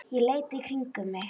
Ég leit í kringum mig.